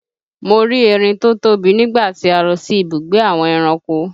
Mo rí erin tó tóbi nígbà tí a lọ sí ibùgbé àwọn ẹranko